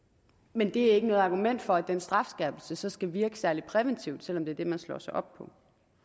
men det er ikke noget argument for at den strafskærpelse så skal virke særlig præventivt selv om det er det man slår sig op på